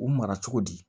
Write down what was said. U mara cogo di